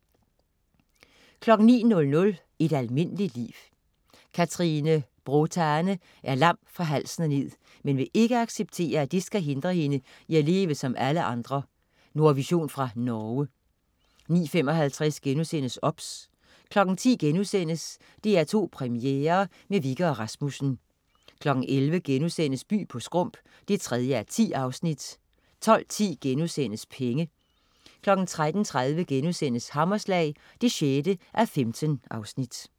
09.00 Et almindeligt liv. Katrine Bråtane er lam fra halsen og ned, men vil ikke acceptere, at det skal hindre hende i at leve som alle andre. Nordvision fra Norge 09.55 OBS* 10.00 DR2 Premiere med Wikke og Rasmussen* 11.00 By på Skrump 3:10* 12.10 Penge* 13.30 Hammerslag 6:15*